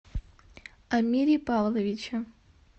амире павловиче